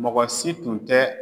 Mɔgɔ si tun tɛ